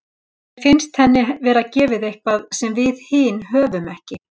Mér finnst henni vera gefið eitthvað sem við hin höfum ekki.